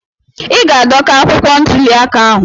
Ị ga-adọka akwụkwọ ntuli aka ahụ.